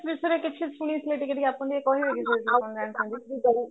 ବିଷୟରେ କିଛି ଶୁଣିଥିଲେ ଟିକେ ଟିକେ ଆପଣ ଟିକେ କହିବେ କି ସେଇଥିରେ କଣ ଜାଣିଚନ୍ତି